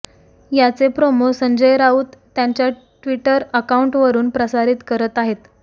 याचे प्रोमो संजय राऊत त्यांच्या Twitter account वरून प्रसारित करत आहेत